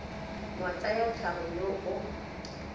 wa tsa tlhago yo o